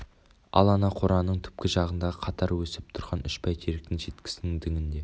ал ана қораның түпкі жағындағы қатар өсіп тұрған үш бәйтеректің шеткісінің діңінде